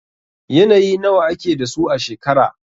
Yanayi nawa ake da su a shekara?